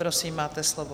Prosím, máte slovo.